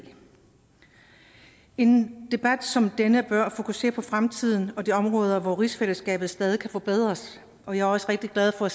en debat som denne bør fokusere på fremtiden og de områder hvor rigsfællesskabet stadig kan forbedres og jeg er også rigtig glad for